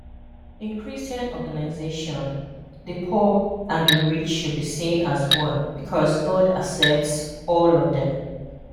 In christian organization, the poor and the rich should be seen as one because God accepts all of them